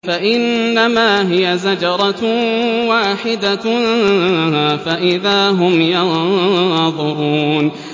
فَإِنَّمَا هِيَ زَجْرَةٌ وَاحِدَةٌ فَإِذَا هُمْ يَنظُرُونَ